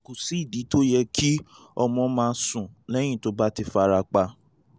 kò sídìí tó fi yẹ kí ọmọ má sùn lẹ́yìn tó bá ti fara pa